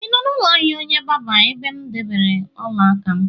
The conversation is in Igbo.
Ị nọ n'ụlọ ahịa onye barber ebe m debere ọla aka?